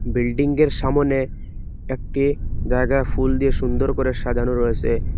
বিল্ডিংয়ের সামোনে একটি জায়গা ফুল দিয়ে সুন্দর করে সাজানো রয়েছে।